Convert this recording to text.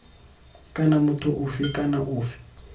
kana motho ofe kana ofe